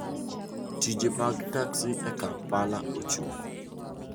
Tije mag taksi e Kampala ochung.